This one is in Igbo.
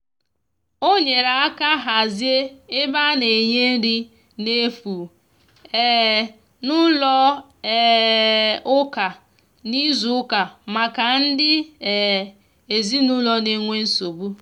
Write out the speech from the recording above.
o nyere aka hazie ebe ana nye nri na efụ um n'ụlọ um ụka na izu uka maka ndi um ezinulo n'enwe nsogbu